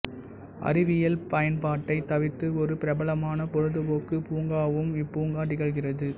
அறிவியல் பயன்பாட்டைத் தவிர்த்து ஒரு பிரபலமான பொழுதுபோக்கு பூங்காவும் இப்பூங்கா திகழ்கிறது